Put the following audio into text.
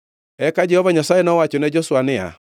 Eka Jehova Nyasaye nowachone Joshua niya,